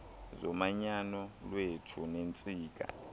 zomanyano lwethu neentsika